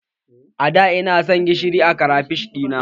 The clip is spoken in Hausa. A da ina san gishiri a krafish ɗina